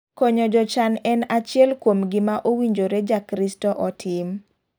Konyo jochan en achiel kuom gima owinjore ja kristo otim.